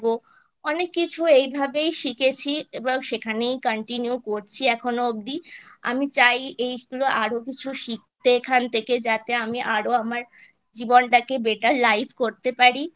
অনেক কিছু এই ভাবেই শিখেছি এবং সেখানেই Continue করছি এখনো অবধি আমি চাই এইগুলো আরো কিছু শিখতে এখান থেকে যাতে আমি আরো আমার জীবনটাকে Better Life করতে পারি